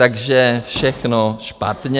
Takže všechno špatně.